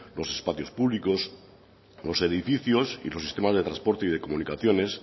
los espacios públicos los edificios y los sistemas de transporte y de comunicaciones